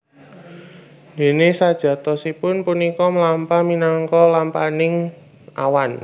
Déné sajatosipun punika mlampah minangka lampahaning awan